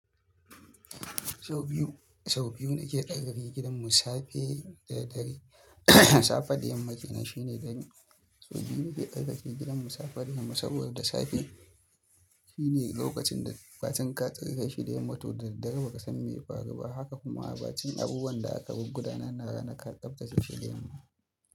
Sau biyu, sau biyu na ke tsarkake gidan mu safe da dare. Safe da yamma kenan shine dare. Sau biyu na ke tsarkake gidan mu safe da yamma saboda da safe shine lokacin da batun ka tsira shi da yamma to daga baya ka san me ya faru ba. Haka kuma abacin abubuwan da aka bi gudanarwa ranaka ka tsabtacce shi da yamma.